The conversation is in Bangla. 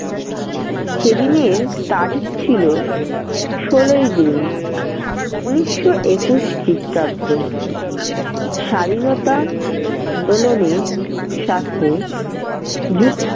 সেদিনের তারিখ ছিল ষোলোই june উনিশশো একুশ খ্ৰীষ্টাব্দ । স্বাধীনতা আন্দোলনের সাথে যুক